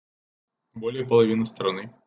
более половины страны